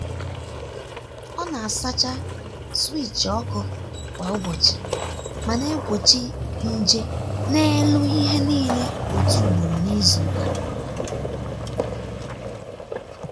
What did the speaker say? ọ na-asacha switch ọkụ kwa ụbọchị ma na-egbochi nje n’elu ihe niile otu ugboro n’izu.